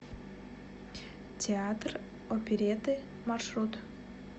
театр оперетты маршрут